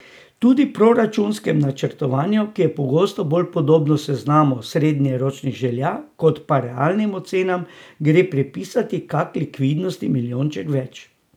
Tudi proračunskemu načrtovanju, ki je pogosto bolj podobno seznamu srednjeročnih želja kot pa realnim ocenam, gre pripisati kak likvidnostni milijonček več.